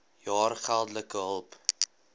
jaar geldelike hulp